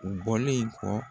U bɔlen kɔ.